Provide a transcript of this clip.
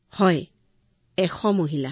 হয় ১০০ গৰাকী মহিলা